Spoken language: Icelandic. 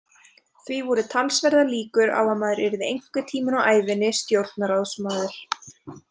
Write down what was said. Því voru talsverðar líkur á að maður yrði einhvern tímann á ævinni stjórnarráðsmaður.